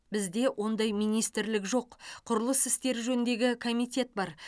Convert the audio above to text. бізде ондай министрлік жоқ құрылыс істері жөніндегі комитет бар